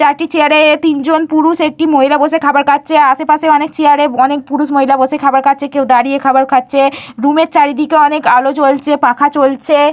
চারটি চেয়ারে তিনজন পুরুষ একটি মহিলা বসে খাবার খাচ্ছে। আশেপাশে অনেক চেয়ারে অনেক পুরুষ মহিলা বসে খাবার খাচ্ছে। কেউ দাঁড়িয়ে খাবার খাচ্ছে। রুমে চারিপাশে অনেক আলো জ্বলছে পাখা চলছে।